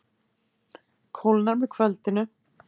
Kólnar með kvöldinu